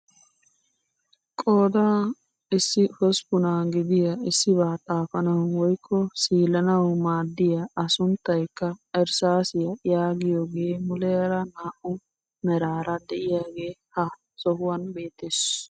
Qooda issi hosppunaa gidiyaa issibaa xaafanawu woykko siilanawu maaddiyaa a sunttayikka irssaasiyaa yaagiyoogee muleera naa"u meraara de'iyaagee ha sohuwaan beettees.